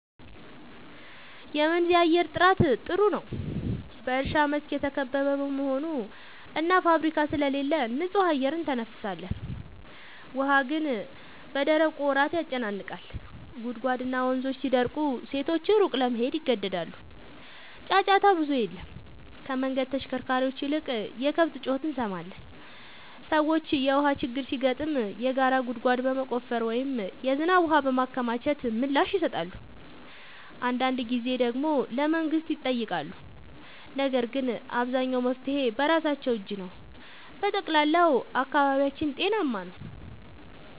በመንዝ የአየር ጥራት ጥሩ ነው፤ በእርሻ መስክ የተከበበ በመሆኑ እና ፋብሪካ ስለሌለ ንጹህ አየር እንተነፍሳለን። ውሃ ግን በደረቁ ወራት ያጨናንቃል፤ ጉድጓድና ወንዞች ሲደርቁ ሴቶች ሩቅ ለመሄድ ይገደዳሉ። ጫጫታ ብዙም የለም፤ ከመንገድ ተሽከርካሪዎች ይልቅ የከብት ጩኸት እንሰማለን። ሰዎች የውሃ ችግር ሲገጥም የጋራ ጉድጓድ በመቆፈር ወይም የዝናብ ውሃ በማከማቸት ምላሽ ይሰጣሉ። አንዳንድ ጊዜ ደግሞ ለመንግሥት ይጠይቃሉ፤ ነገር ግን አብዛኛው መፍትሔ በራሳቸው እጅ ነው። በጠቅላላው አካባቢያችን ጤናማ ነው።